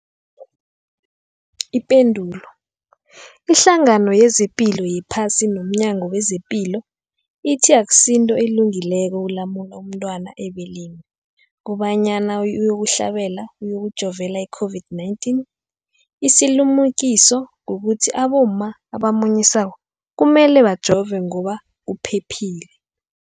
Ipendulo, iHlangano yezePilo yePhasi nomNyango wezePilo ithi akusinto elungileko ukulumula umntwana ebeleni kobanyana uyokuhlabela, uyokujovela i-COVID-19. Isilimukiso kukuthi abomma abamunyisako kumele bajove ngoba kuphephile.